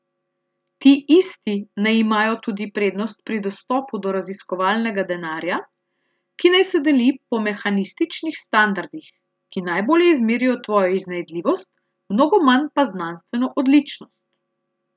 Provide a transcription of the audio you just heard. Ti isti naj imajo tudi prednost pri dostopu do raziskovalnega denarja, ki naj se deli po mehanističnih standardih, ki najbolje izmerijo tvojo iznajdljivost, mnogo manj pa znanstveno odličnost.